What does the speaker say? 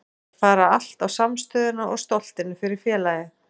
Þær fara allt á samstöðuna og stoltinu fyrir félagið.